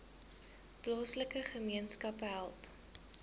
plaaslike gemeenskappe help